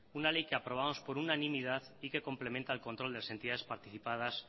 una ley que aprobábamos por una unanimidad y que complementa el control de entidades participadas